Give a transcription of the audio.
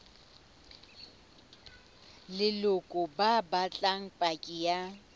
leloko ba batla paki ya